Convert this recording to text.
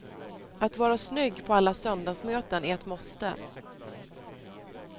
Att vara snygg på alla söndagsmöten är ett måste.